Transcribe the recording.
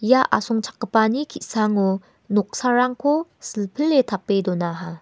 ia asongchakgipani ki·sango noksarangko silpile tape donaha.